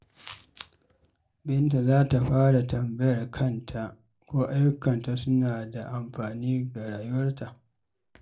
Binta za ta fara tambayar kanta ko ayyukanta suna da amfani ga rayuwarta.